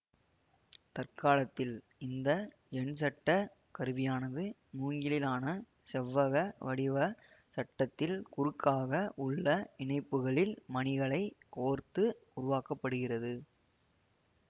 தற்காலத்தில் இந்த எண்சட்ட கருவியானது மூங்கிலாலான செவ்வக வடிவ சட்டத்தில் குறுக்காக உள்ள இணைப்புக்களில் மணிகளைக் கோர்த்து உருவாக்க படுகிறது